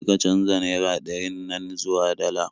Kar ka canja naira ɗarin nan zuwa dala